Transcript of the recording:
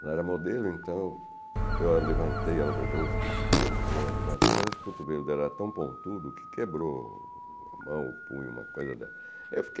Ela era modelo, então eu a levantei, ela dobrou os cotovelos e eu a levantei, mas os cotovelos dela eram tão pontudos que quebrou a mão, o punho, uma coisa dela. Ai eu fiquei